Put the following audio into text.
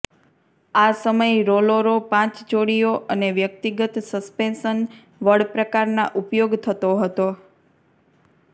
આ સમય રોલોરો પાંચ જોડીઓ અને વ્યક્તિગત સસ્પેન્શન વળ પ્રકારના ઉપયોગ થતો હતો